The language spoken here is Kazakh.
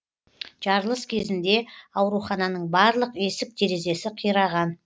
жарылыс кезінде аурухананың барлық есік терезесі қираған